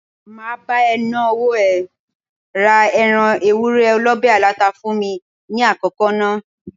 Máa bá ẹ ná owó ẹ, ra ẹran Ewúré olọ̀bẹ̀ aláta fún mi ní àkọ́kọ́ ná.